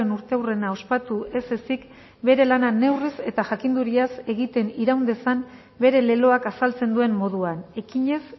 urteurrena ospatu ez ezik bere lana neurriz eta jakinduriaz egiten iraun dezan bere leloak azaltzen duen moduan ekinez